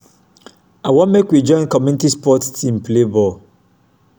i wan make we join community sport team play ball.